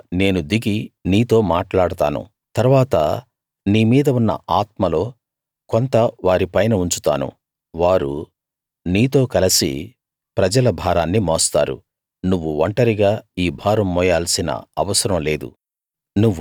అక్కడ నేను దిగి నీతో మాట్లాడతాను తరువాత నీ మీద ఉన్న ఆత్మలో కొంత వారి పైన ఉంచుతాను వారు నీతో కలసి ప్రజల భారాన్ని మోస్తారు నువ్వు ఒంటరిగా ఈ భారం మోయాల్సిన అవసరం లేదు